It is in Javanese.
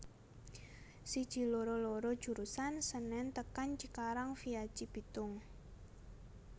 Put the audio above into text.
Siji loro loro jurusan Senen tekan Cikarang via Cibitung